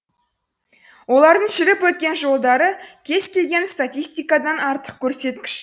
олардың жүріп өткен жолдары кез келген статистикадан артық көрсеткіш